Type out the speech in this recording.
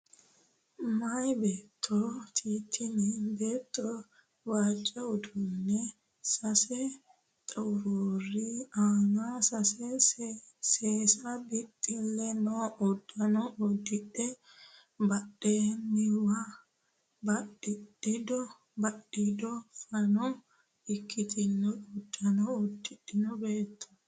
Meyaa beettooti tini beetto waajjo hundaanni sasu xuruuri aana sase sase bixxille noo uddano uddidhe badhenniwa badhiido fano ikkitino uddano uddidhino beettooti.